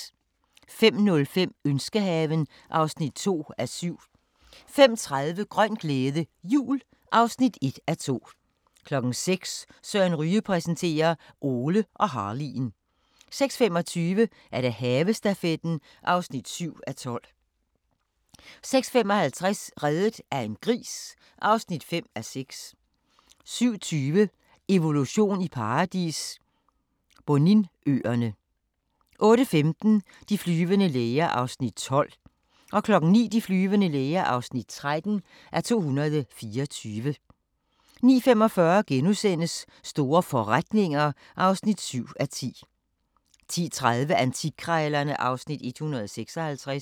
05:05: Ønskehaven (2:7) 05:30: Grøn glæde, jul (1:2) 06:00: Søren Ryge præsenterer: Ole og Harley'en 06:25: Havestafetten (7:12) 06:55: Reddet af en gris (5:6) 07:20: Evolution i paradis – Boninøerne 08:15: De flyvende læger (12:224) 09:00: De flyvende læger (13:224) 09:45: Store forretninger (7:10)* 10:30: Antikkrejlerne (Afs. 156)